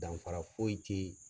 Danfara foyi tɛ